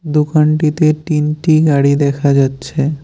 দোকানটিতে তিনটি গাড়ি দেখা যাচ্ছে।